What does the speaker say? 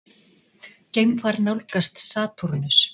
Geimfar nálgast Satúrnus.